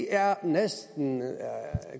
er det næsten